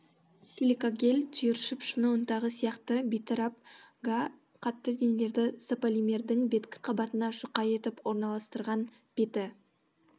силикагель түйіршіп шыны ұнтағы сияқты бейтарап га қатты денелерді сополимердің беткі қабатына жұқа етіп орналастырған беті